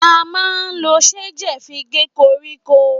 À mà ńlo ṣejẹ fi gẹ kọrikọ